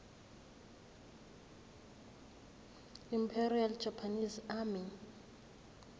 imperial japanese army